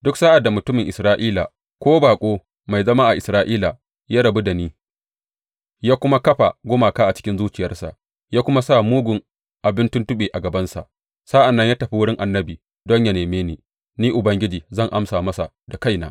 Duk sa’ad da mutumin Isra’ila ko baƙo mai zama a Isra’ila ya rabu da ni ya kuma kafa gumaka a cikin zuciyarsa ya kuna sa mugun abin tuntuɓe a gabansa sa’an nan ya tafi wurin annabi don yă neme ni, Ni Ubangiji zan amsa masa da kaina.